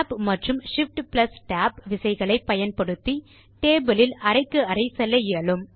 Tab மற்றும் ShiftTab விசைகளை பயன்படுத்தி டேபிள் இல் அறைக்கு அறை செல்ல இயலும்